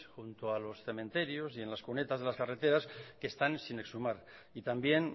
junto a los cementerios y en las cunetas de las carreteras que están sin exhumar y también